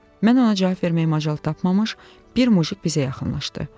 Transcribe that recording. Mən ona cavab verməyə macal tapmamış, bir mujik bizə yaxınlaşdı.